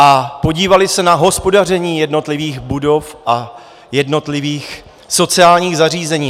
A podívali se na hospodaření jednotlivých budov a jednotlivých sociálních zařízení?